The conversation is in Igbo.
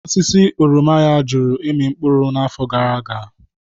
Osisi oroma ya jụrụ ịmị mkpụrụ n'afọ gara aga.